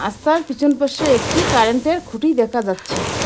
রাস্তার পিছন পাশে একটি কারেন্টের খুঁটি দেখা যাচ্ছে।